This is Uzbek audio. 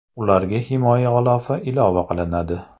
Ularga himoya g‘ilofi ilova qilinadi.